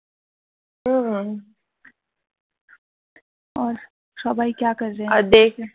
উম